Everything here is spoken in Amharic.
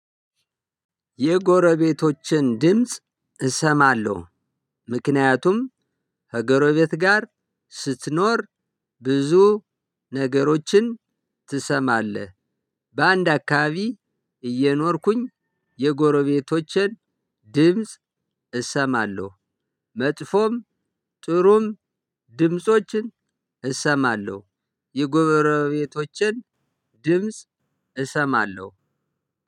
የጎረቤቶችን ድምጽ እሰማለሁ። ምክንያቱም ከጎረቤት ጋር ስትኖር ብዙ ነገሮችን ትሰማለህ። በአንድ አካባቢ እየኖርኩኝ የጎረቤቶቼን ድምጽ እሰማለሁ። መጥፎም ጥሩም ድምፆችን እሰማለሁ። የጎረቤቶቼን ድምጽ እሰማለሁ።